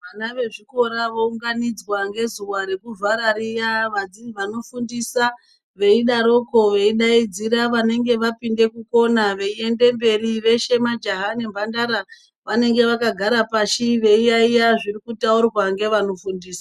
Vana vezvikora vounganidzwa ngezuwa rekuvhara riya vanofundisa veidaroko veidaidzira vanenge vapinde kukona veiende mberi veshe majaha nemhandara vanenge vakagara pashi veiyayiya zvirikutaurwa ngevanofundisa.